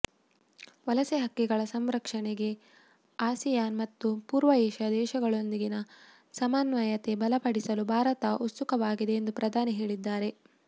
ವಲಸೆ ಹಕ್ಕಿಗಳ ಸಂರಕ್ಷಣೆಗೆ ಆಸಿಯಾನ್ ಮತ್ತು ಪೂರ್ವ ಏಷ್ಯಾ ದೇಶಗಳೊಂದಿಗಿನ ಸಮನ್ವಯತೆ ಬಲಪಡಿಸಲು ಭಾರತ ಉತ್ಸುಕವಾಗಿದೆ ಎಂದು ಪ್ರಧಾನಿ ಹೇಳಿದ್ದಾರೆ